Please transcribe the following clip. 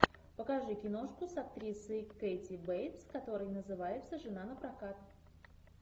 покажи киношку с актрисой кэти бейтс которая называется жена напрокат